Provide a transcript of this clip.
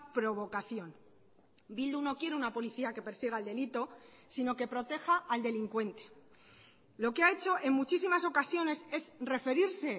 provocación bildu no quiere una policía que persiga el delito sino que proteja al delincuente lo que ha hecho en muchísimas ocasiones es referirse